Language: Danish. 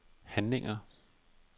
handlinger